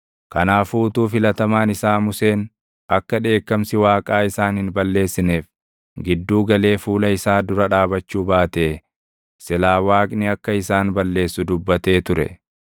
Kanaafuu utuu filatamaan isaa Museen akka dheekkamsi Waaqaa isaan hin balleessineef gidduu galee fuula isaa dura dhaabachuu baatee silaa Waaqni akka isaan balleessu dubbatee ture.